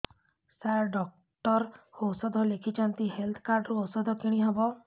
ସାର doctor ଔଷଧ ଲେଖିଛନ୍ତି health card ରୁ ଔଷଧ କିଣି ହେବ